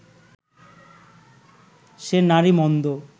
সে নারী মন্দ